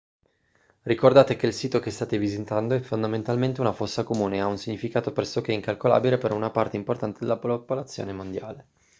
ricordate che il sito che state visitando è fondamentalmente una fossa comune e ha un significato pressoché incalcolabile per una parte importante della popolazione mondiale